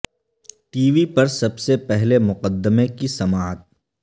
T V پر سب سے پہلے مقدمے کی سماعت